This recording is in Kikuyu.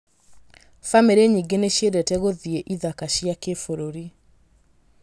Bamĩrĩ nyingĩ nĩ iciendete gũthiĩ ithaka cia kĩbũrũri.